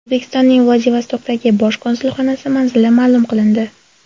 O‘zbekistonning Vladivostokdagi bosh konsulxonasi manzili ma’lum qilindi.